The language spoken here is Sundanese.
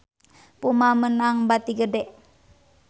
Puma meunang bati gede